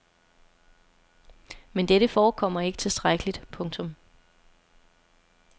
Men dette forekommer ikke tilstrækkeligt. punktum